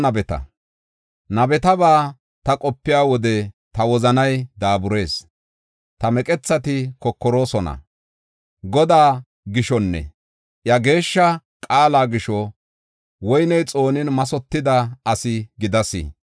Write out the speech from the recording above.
Nabetaba ta qopiya wode ta wozanay daaburees; ta meqethati kokoroosona. Godaa gishonne iya geeshsha qaala gisho woyney xoonin mathotida asi gidas.